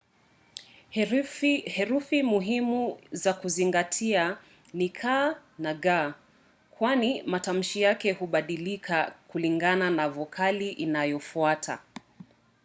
herufi muhimu za kuzingatia ni c na g kwani matamshi yake hubadilika kulingana na vokali inayofuata